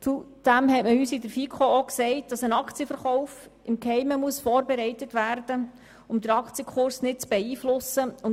Zudem hat man uns in der FiKo auch gesagt, ein Aktienverkauf müsse im Geheimen vorbereitet werden, damit der Aktienkurs nicht beeinflusst wird.